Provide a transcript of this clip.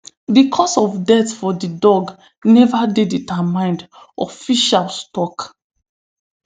di cause of death for di dog neva dey determined officials tok